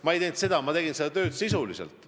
Ma ei teinud seda, ma tegin tööd sisuliselt.